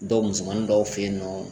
Dɔw musomannin dɔw fe yen nɔ